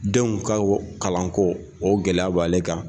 Denw ka kalanko o gɛlɛya b'ale kan.